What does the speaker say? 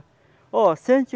Ó se a gente.